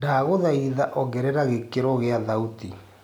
ndagũthaĩtha ongerera gĩkĩro gia thauti